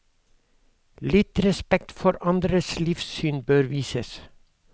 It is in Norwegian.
Litt respekt for andres livssyn bør vises.